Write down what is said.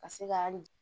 Ka se ka hali